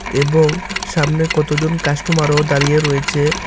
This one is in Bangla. এবং সামনে কতজন কাস্টমারও দাঁড়িয়ে রয়েচে ।